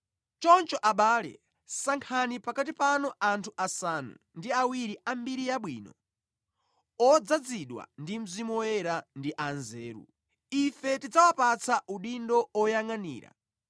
Choncho abale, sankhani pakati panu anthu asanu ndi awiri a mbiri yabwino, odzazidwa ndi Mzimu Woyera ndi anzeru. Ife tidzawapatsa udindo oyangʼanira.